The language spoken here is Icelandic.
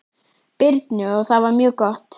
Birnu og það var mjög gott.